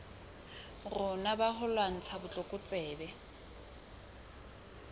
rona ba ho lwantsha botlokotsebe